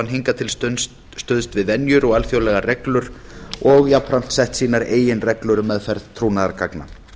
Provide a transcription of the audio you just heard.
hingað til stuðst við venjur og alþjóðlegar reglur og jafnframt sett sínar eigin reglur um meðferð trúnaðargagna